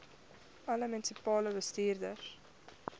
alle munisipale bestuurders